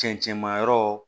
Cɛncɛnmayɔrɔ